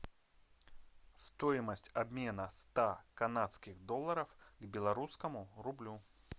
стоимость обмена ста канадских долларов к белорусскому рублю